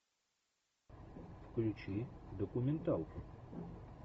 включи документалку